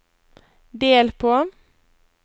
del på